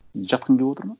жатқың келіп отыр ма